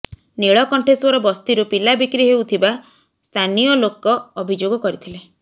ନୀଳକଣ୍ଠେଶ୍ୱର ବସ୍ତିରୁ ପିଲା ବିକ୍ରି ହେଉଥିବା ସ୍ଥାନୀୟ ଲୋକ ଅଭିଯୋଗ କରିଥିଲେ